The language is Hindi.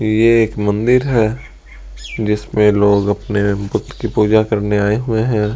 कि ये एक मंदिर है जिसमें लोग अपने बुत की पूजा करने आए हुए हैं।